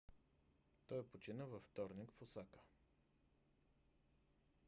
той почина във вторник в осака